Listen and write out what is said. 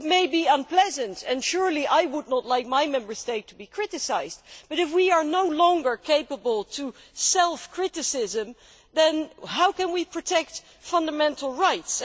It may be unpleasant, and I would certainly not like my Member State to be criticised, but if we are no longer capable of self criticism, then how can we protect fundamental rights?